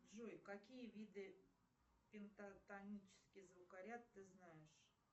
джой какие виды пентатонический звукоряд ты знаешь